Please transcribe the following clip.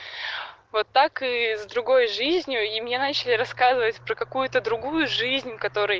вот так и с другой жизнью и мне начали рассказывать про какую-то другую жизнь в которой